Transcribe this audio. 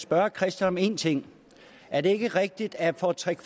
spørge christian om en ting er det ikke rigtigt at for tre